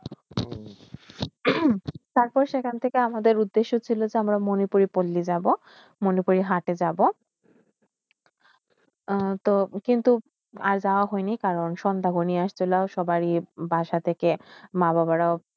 টাক সেইখানটিকেই আমাদেরই উদ্দেশ্য শীল যে মনে পরি বল্লী যে লিজ বউ মনে করি হাতে জ এত কিন্তু আর জব হয়নেই কারণ সন্ধ্যা সবার বাসাতে কে মা-বাবাড়াও